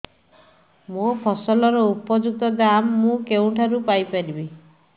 ମୋ ଫସଲର ଉପଯୁକ୍ତ ଦାମ୍ ମୁଁ କେଉଁଠାରୁ ପାଇ ପାରିବି